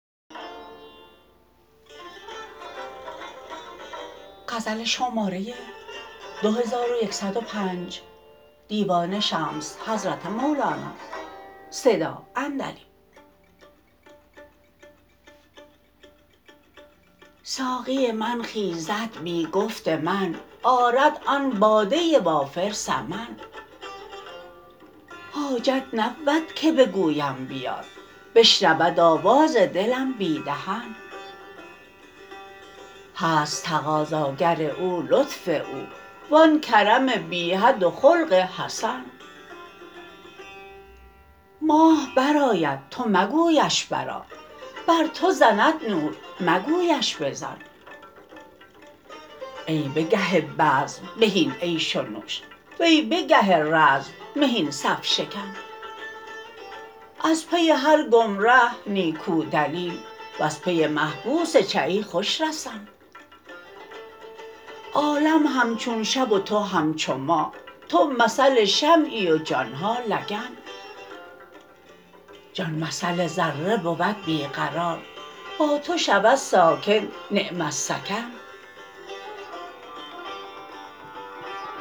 ساقی من خیزد بی گفت من آرد آن باده وافر ثمن حاجت نبود که بگویم بیار بشنود آواز دلم بی دهن هست تقاضاگر او لطف او و آن کرم بی حد و خلق حسن ماه برآید تو مگویش برآ بر تو زند نور مگویش بزن ای به گه بزم بهین عیش و نوش وی به گه رزم مهین صف شکن از پی هر گمره نیکو دلیل وز پی محبوس چه ای خوش رسن عالم همچون شب و تو همچو ماه تو مثل شمعی و جان ها لگن جان مثل ذره بود بی قرار با تو شود ساکن نعم السکن